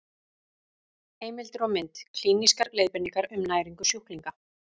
Heimildir og mynd: Klínískar leiðbeiningar um næringu sjúklinga.